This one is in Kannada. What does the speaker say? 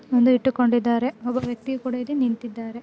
ಒಂದು ಇಟ್ಟುಕೊಂಡ್ಡಿದಾರೆ ಒಬ್ಬ ವ್ಯಕ್ತಿಯು ಕೂಡಾ ಇಲ್ಲಿ ನಿಂತಿದ್ದಾರೆ.